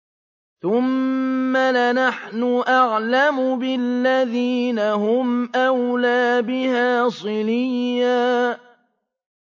ثُمَّ لَنَحْنُ أَعْلَمُ بِالَّذِينَ هُمْ أَوْلَىٰ بِهَا صِلِيًّا